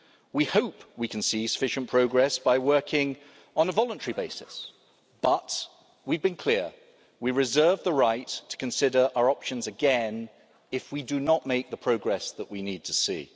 We hope we can see sufficient progress by working on a voluntary basis, but we've been clear we reserve the right to consider our options again if we do not make the progress that we need to see.